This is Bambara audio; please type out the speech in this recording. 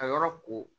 Ka yɔrɔ ko